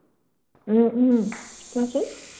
উম উম কোৱাচোন।